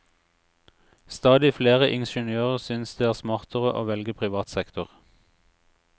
Stadig flere ingeniører synes det er smartere å velge privat sektor.